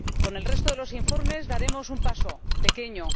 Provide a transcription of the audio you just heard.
Con el resto de los informes daremos un paso, pequeño.